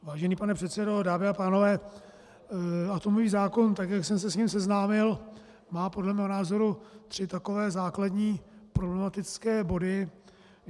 Vážený pane předsedo, dámy a pánové, atomový zákon, tak jak jsem se s ním seznámil, má podle mého názoru tři takové základní problematické body.